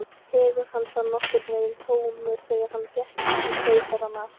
Hugur hans var nokkurn veginn tómur, þegar hann gekk inn á Keisarann af